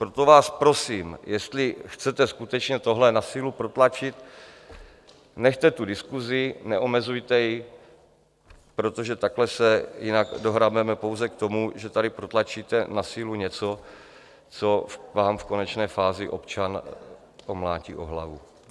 Proto vás prosím, jestli chcete skutečně tohle na sílu protlačit, nechte tu diskusi, neomezujte ji, protože takhle se jinak dohrabeme pouze k tomu, že tady protlačíte na sílu něco, co vám v konečné fázi občan omlátí o hlavu.